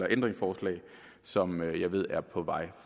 ændringsforslag som jeg ved er på vej